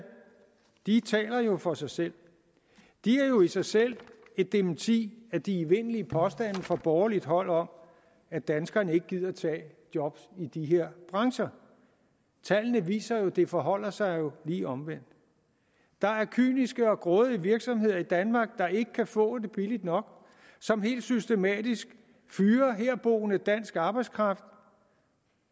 de tal taler jo for sig selv de er jo i sig selv et dementi af de evindelige påstande fra borgerligt hold om at danskerne ikke gider tage job i de her brancher tallene viser jo at det forholder sig lige omvendt der er kyniske og grådige virksomheder i danmark der ikke kan få det billigt nok som helt systematisk fyrer herboende dansk arbejdskraft